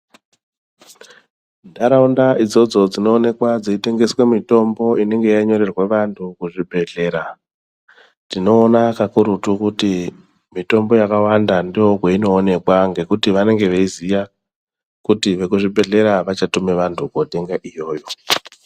Ntaraunda idzodzo dzinoonekwa dzeitengeswe mitombo inenge yanyorerwa vantu kuzvibhadhlera tinoona kakurutu kuti mitombo yakawanda ndokweinoonekwa ngekuti vanenge veiziya kuti vekuzvibhedhlera vachatume vantu kotenga iyoyo.